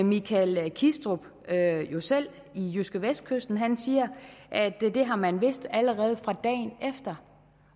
michael kistrup jo selv i jydskevestkysten han siger at det har man vidst allerede fra dagen efter